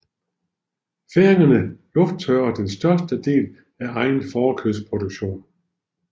Færingerne lufttørrer den største del af egen fårekødsproduktion